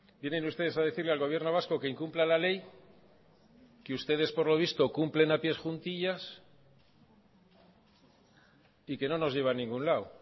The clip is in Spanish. vienen ustedes a decirle al gobierno vasco que incumpla la ley que ustedes por lo visto cumplen a pies juntillas y que no nos lleva a ningún lado